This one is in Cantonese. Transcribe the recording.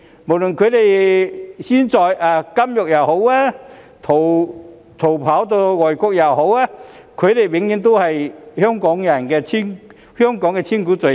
無論他們現時身處監獄還是逃跑到外國，他們永遠都是香港的千古罪人。